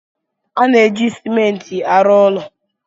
A na-eji Simenti arụ ụlọ.